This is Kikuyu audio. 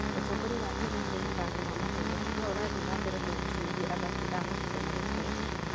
Ũtongoria wa Kenya harĩ mathako ma mahenya no ũrathiĩ na mbere kũgucĩrĩria athaki a mahinda marĩa maroka.